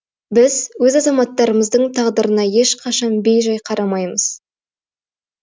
біз өз азаматтарымыздың тағдырына ешқашан бей жай қарамаймыз